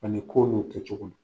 Ani ko n'o kɛ cogo nin